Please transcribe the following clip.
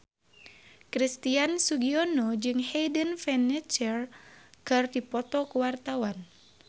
Christian Sugiono jeung Hayden Panettiere keur dipoto ku wartawan